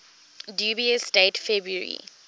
dubious date february